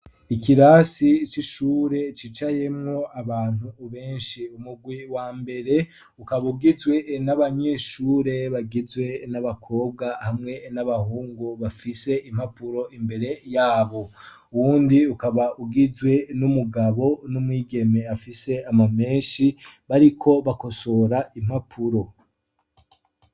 Ikirasi ico ishure cicayemwo abantu ubenshi umugwi wa mbere ukaba ugizwe n'abanyeshure bagizwe n'abakobwa hamwe n'abahungu bafise impapuro imbere yabo uwundi ukaba ugizwe n'umugabo n'umwigeme afise ama menshi, ariko bakosora impapuro.